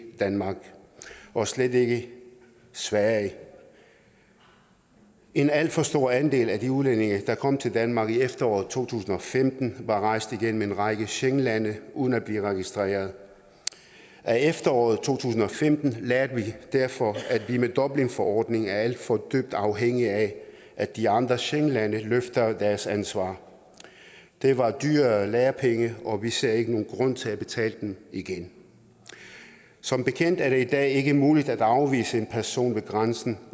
ikke danmark og slet ikke sverige en alt for stor andel af de udlændinge der kom til danmark i efteråret to tusind og femten var rejst igennem en række schengenlande uden at blive registreret af efteråret to tusind og femten lærte vi derfor at vi med dublinforordningen er alt for afhængige af at de andre schengenlande løfter deres ansvar det var dyre lærepenge og vi ser ikke nogen grund til at betale dem igen som bekendt er det i dag ikke muligt at afvise en person ved grænsen